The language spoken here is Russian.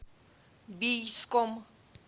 бийском